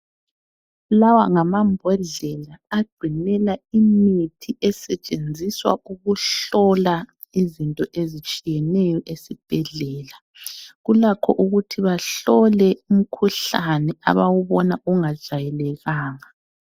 Lawa ngama mbodlela agcinela imithi esetshenziswa ukuhlola izinto ezitshiyeneyo esibhedlela, kulakho ukuthi bahlole umkhuhlane abawubona ungajayelekanga.